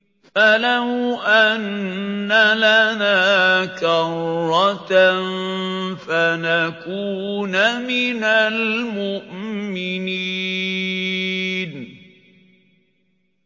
فَلَوْ أَنَّ لَنَا كَرَّةً فَنَكُونَ مِنَ الْمُؤْمِنِينَ